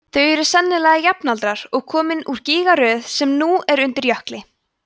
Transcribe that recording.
þau eru sennilega jafnaldrar og komin úr gígaröð sem nú er undir jökli